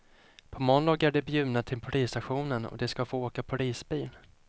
På måndag är de bjudna till polisstationen och de ska få åka polisbil.